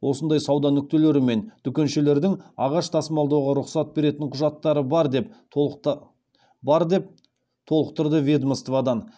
осындай сауда нүктелері мен дүкеншелердің ағаш тасымалдауға рұқсат беретін құжаттары бар деп толықтырды ведомстводан